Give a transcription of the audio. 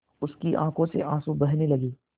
उसकी आँखों से आँसू बहने लगे